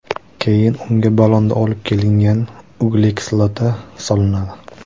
Keyin unga ballonda olib kelingan uglekislota solinadi.